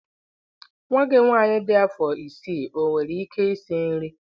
Nwa gị nwanyị dị afọ isii owere ike isi nri?